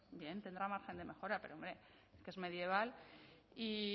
bien tendrá margen de mejora pero hombre que es medieval y